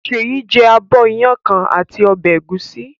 Ṣèyí jẹ abọ́ iyán kan àti ọbẹ̀ ẹ̀gúsí.